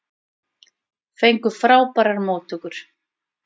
Fengu frábærar móttökur